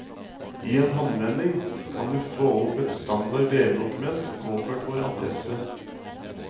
I en håndvending, kan du få opp et standard brevdokument påført vår adresse.